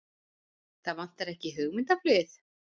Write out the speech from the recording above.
Það vantar ekki hugmyndaflugið!